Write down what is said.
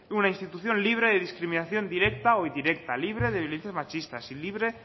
una institución libre de discriminación directa o indirecta libre de violencias machistas y libre